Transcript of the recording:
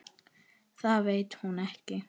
Það veit hún ekki.